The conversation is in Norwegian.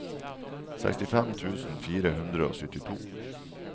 sekstifem tusen fire hundre og syttito